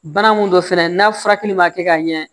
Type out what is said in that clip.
Bana mun don fɛnɛ n'a furakɛli ma kɛ ka ɲɛ